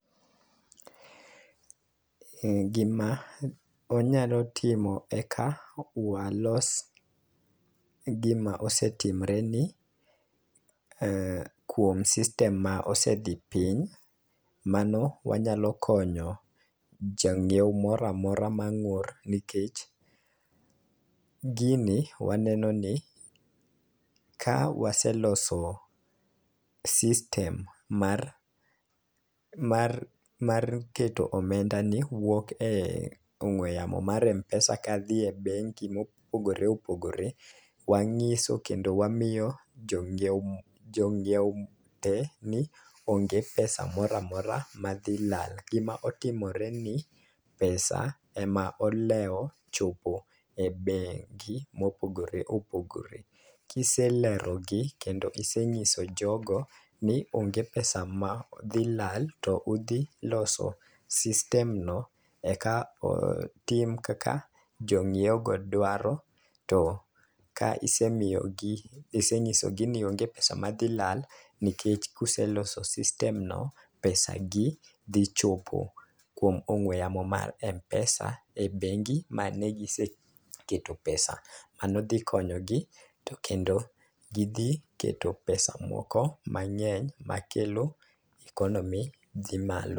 Ee gima onyalo timo eka walos gima osetimre ni kuom system ma osedhi piny. Mano wanyalo konyo jang'iew moramora mang'ur nikech gini waneno ni ka waseloso system mar mar mar keto omenda ni wuok e ong'we yamo mar mpesa kadhi e bengi mopogore opogore, wang'iso kendo wamiyo jong'iewo jong'iewo ni onge pesa moramora madhi lal gima otimore ni pesa ema olewo chopo e bengi mopogore opogore. Kiselerogi kendo isenyiso jogo ni onge pesa ma dhi lala to udhi loso system no eka otim kaka jong'iewo go dwaro to ka isemiyo gi isenyido gi ni onge pesa ma dhi lala nikech kuseloso system no pesa gi dhi chopo kuom ongew yamo mar mpesa e bengi mane gisekete pesa .Mano dhi konyogi to kendo gidhi keto pesa moko mang'eny makelo economy dhi malo.